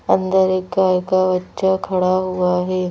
अंदर एक गाय का बच्चा खड़ा हुआ है।